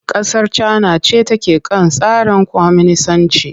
Kasar Cana ce take kan tsarin kwaminisanci.